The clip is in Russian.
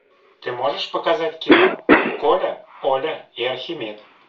ты можешь показать кино коля оля и архимед